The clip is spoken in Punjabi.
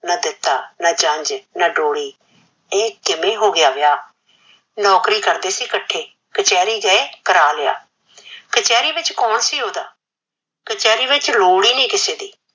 ਨਾਂ ਦਿੱਤਾ, ਨਾਂ ਜੰਜ, ਨਾਂ ਡੋਲੀ, ਏ ਕਿਵੇ ਹੋ ਗਿਆ ਵਿਆਹ, ਨੋਕਰੀ ਕਰਦੇ ਸੀ ਇਕੱਠੇ, ਕਚਹਿਰੀ ਗਿਏ ਕਰਾ ਲਿਆ, ਕਚਹਿਰੀ ਗਏ ਕਰ ਲਿਆ, ਕਚਹਿਰੀ ਵਿੱਚ ਕੋਣ ਸੀ ਓਹਦਾ ਕਚਹਿਰੀ ਵਿੱਚ ਲੋੜ ਨੀ ਕਿਸੇ ਦੀ,